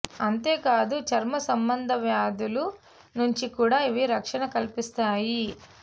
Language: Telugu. అంతేకాదు చర్మ సంబంధ వ్యాధుల నుంచి కూడా ఇవి రక్షణ కల్పిస్తాయి